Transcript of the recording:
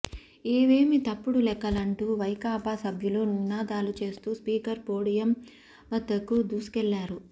ఇవేమి తప్పుడు లెక్కలంటూ వైకాపా సభ్యులు నినాదాలు చేస్తూ స్పీకర్ పోడియం వద్దకు దూసుకెళ్లారు